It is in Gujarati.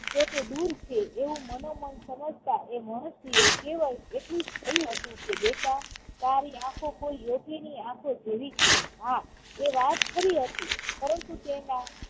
તો તે દૂર છે એવું મનોમન સમજતા એ મહર્ષિએ કેવળ એટલું જ કહ્યું હતું કે બેટા તારી આંખો કોઈ યોગીની આંખો જેવી જ છે. હા એ વાત ખરી હતી પરંતુ તેના